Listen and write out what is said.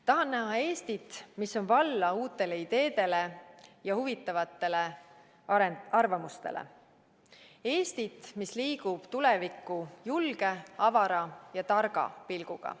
Tahan näha Eestit, mis on valla uutele ideedele ja huvitavatele arvamustele – Eestit, mis liigub tulevikku julge, avara ja targa pilguga.